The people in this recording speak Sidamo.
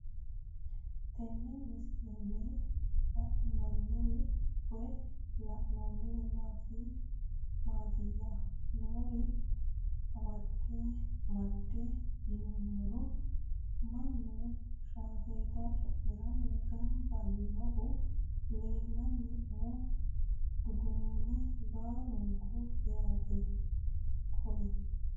Tenne misilenni la'nanniri woy leellannori maattiya noori amadde yinummoro mannu shaaffetta cu'miranni ganbba yiinnohu leelanno umo dugunuune baallunku yaatte koye